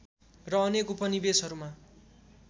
र अनेक उपनिवेशहरूमा